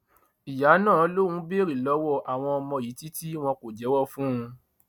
ìyá náà lòun béèrè lọwọ àwọn ọmọ yìí títí wọn kò jẹwọ fóun